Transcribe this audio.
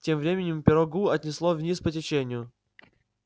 тем временем пирогу отнесло вниз по течению